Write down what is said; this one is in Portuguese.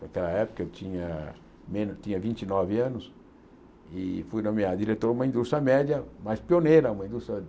Naquela época eu tinha me tinha vinte e nove anos e fui nomeado diretor de uma indústria média, mas pioneira, uma indústria